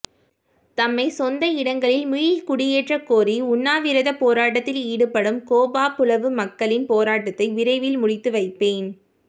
தம்மை சொந்த இடங்களில் மீள்குடியேற்றக்கோரி உண்ணாவிரதப்போராட்டத்தில் ஈடுபடும் கேப்பாபுலவு மக்களின் போராட்டத்தை விரைவில் முடித்து வைப்பேன்